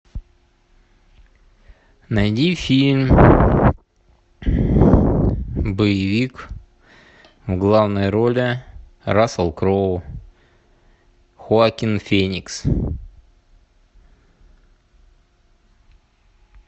найди фильм боевик в главной роли рассел кроу хоакин феникс